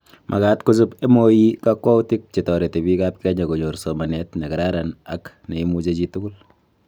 Makaat kochob MoE kakwautik che torereti biikab Kenya konyor somanet nekararan ak neimuchi chitugul